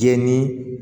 Jɛn ni